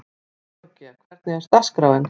Georgía, hvernig er dagskráin?